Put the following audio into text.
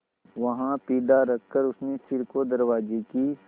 वहाँ पीढ़ा रखकर उसने सिर को दरवाजे की